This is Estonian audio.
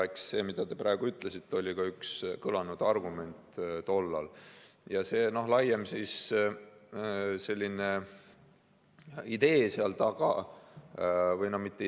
Eks see, mida te praegu ütlesite, oli ka üks tollal kõlanud argumente.